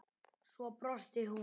Svo brosti hún.